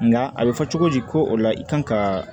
Nka a bɛ fɔ cogo di ko o la i kan ka